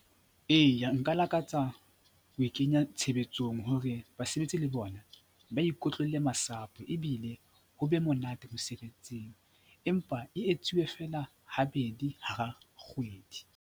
Eya, nka lakatsa ho e kenya tshebetsong hore basebetsi le bona ba ikotlolle masapo ebile ho be monate mosebetsing empa e etsuwe feela habedi hara kgwedi.